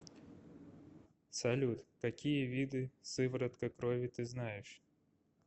салют какие виды сыворотка крови ты знаешь